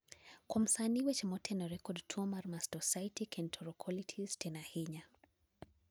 kuom sani weche motenore kod tuo mar mastocytic enterocolitis tin ahinya